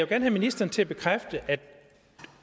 have ministeren til at bekræfte at